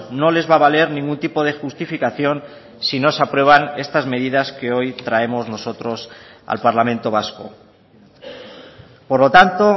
no les va a valer ningún tipo de justificación si no se aprueban estas medidas que hoy traemos nosotros al parlamento vasco por lo tanto